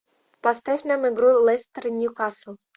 поставь нам игру лестер ньюкасл